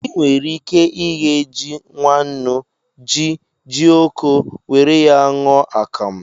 I nwere ike ighe ji nwannu, ji, jioko, were ya ṅụọ akamụ